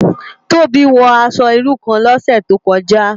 Tobi wò aṣò irú kán lòsè tókòjá